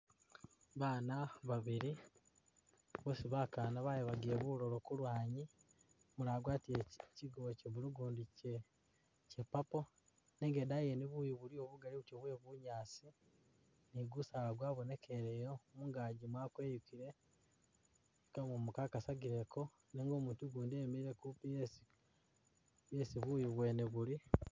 Baana babili bosi bakaana bayabagile bulowo kulwanyi, umulala wagwatile kyi kyigubo kye blue ugundi kye kye purple nenga idaayi yene buyu buliyo bugaali buti bwe bunyaasi ni gusaala gwabonekeleyo ,mungaaji mwakweyukile ,gamumu kagasagileko nenga umutu ugundi emile kupi yesi yeai buyu bwene buli